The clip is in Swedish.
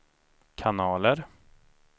kanaler